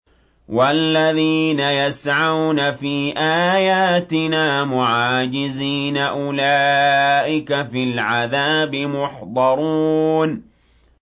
وَالَّذِينَ يَسْعَوْنَ فِي آيَاتِنَا مُعَاجِزِينَ أُولَٰئِكَ فِي الْعَذَابِ مُحْضَرُونَ